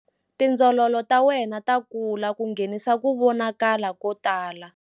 Tindzololo ta wena ta kula ku nghenisa ku vonakala ko tala.